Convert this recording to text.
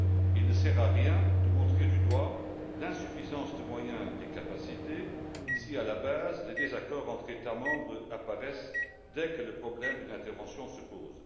Il ne sert à rien de montrer du doigt l'insuffisance de moyens et de capacités si, à la base, les désaccords entre États membres apparaissent dès que le problème d'une intervention se pose.